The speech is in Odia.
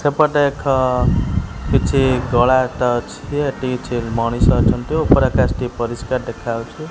ସେପଟେ ଏଖ କିଛି କଳାଟ ଅଛି ହେଟି କିଛି ମଣିଷ ଅଛନ୍ତି ଓପର ଆକାଶଟି ପରିଷ୍କାର ଦେଖାଯାଉଛି।